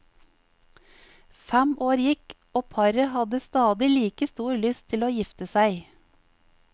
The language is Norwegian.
Fem år gikk, og paret hadde stadig like stor lyst til å gifte seg.